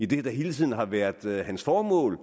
det der hele tiden har været hans formål